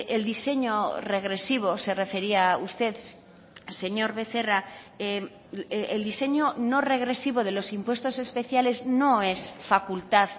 el diseño regresivo se refería usted señor becerra el diseño no regresivo de los impuestos especiales no es facultad